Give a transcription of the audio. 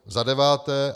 Za deváté.